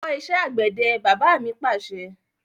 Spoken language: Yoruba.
Lọ kọ́ ìṣẹ́ àgbẹ̀dẹ! Bàbá mi Pàṣẹ.